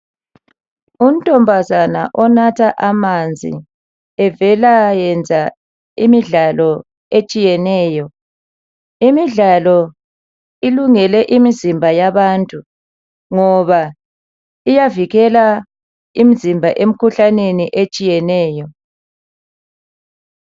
Untombazana onatha amanzi evela yenza imidlalo etshiyeneyo. Imidlalo ilungele imizimba yabantu ngoba iyavikela imzimba emkhuhlaneni etshiyeneyo.